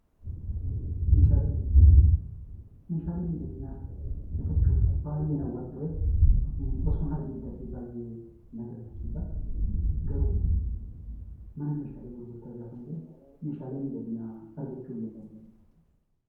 Meeshaalee miidhaginaa Meeshaalee miidhaginaa baayyeen hawwan turee, osoon argee bitadhee baayyeen hawwa. Garuu mana Meeshaalee gurgurtaa yeroon deemu Meeshaalee miidhaginaa argachuu hin dandeenye.